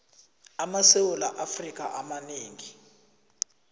amasewula afrika amanengi